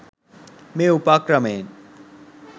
මේ උපක්‍රමයෙන්